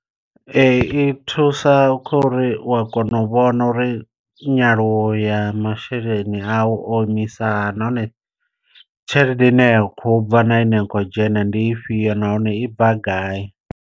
Ee i thusa kha uri u a kona u vhona uri nyaluwo ya masheleni a u o imisa hani, nahone tshelede ine ya khou bva na ine ya kho dzhena ndi ifhio nahone i bva gai.